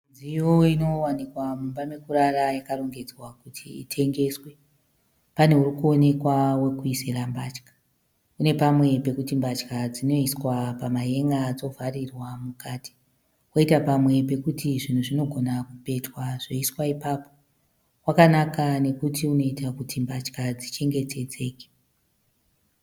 Midziyo inowanikwa mumba mekurara yakarongedzwa kuti itengeswe. Pane uri kuonekwa wekuisira mbatya. Une pamwe pekuti mbatya dzinoiswa pamahenga dzovharirwa mukati, kwoita pamwe pekuti zvinhu zvinogona kupetwa zvoiswa ipapo. Wakanaka nekuti unoita kuti mbatya dzichengetedzeke